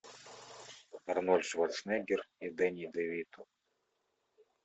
арнольд шварценеггер и дени девито